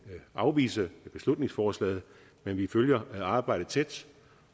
afvise beslutningsforslaget men vi følger arbejdet tæt